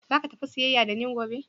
Zaka tafi siyayya da ni gobe?